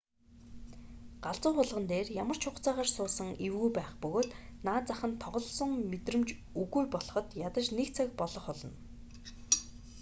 галзуу хулгана дээр ямар ч хугацаагаар суусан эвгүй байх бөгөөд наад зах нь тоглосон мэдрэмж үгүй болоход ядаж нэг цаг болох болно